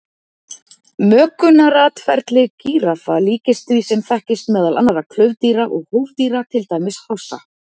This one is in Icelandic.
Mökunaratferli gíraffa líkist því sem þekkist meðal annarra klaufdýra og hófdýra, til dæmis hrossa.